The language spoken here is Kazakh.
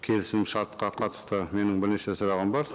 келісім шартқа қатысты менің бірнеше сұрағым бар